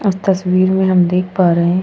अब तस्वीर में हम देख पा रहे हैं --